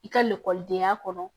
I ka lakɔlidenya kɔnɔ